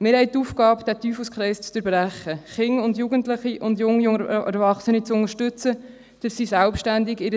Wir haben die Aufgabe, diesen Teufelskreis zu durchbrechen und Kinder, Jugendliche und junge Erwachsene zu unterstützen, damit sie ihr Leben selbstständig